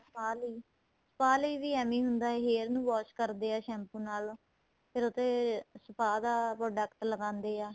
spa ਲਈ spay ਲਈ ਐਵੇ ਹੁੰਦਾ ਏ hair ਨੂੰ wash ਕਰਦੇ ਏ shampoo ਨਾਲ ਫ਼ੇਰ ਉਹ ਤੇ spa ਦਾ product ਲਗਾਦੇ ਆ